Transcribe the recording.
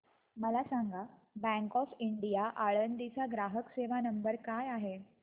मला सांगा bank of India Alandi चा ग्राहक सेवा नंबर काय आहे